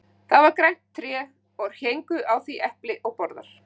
Það var grænt tré og héngu á því epli og borðar.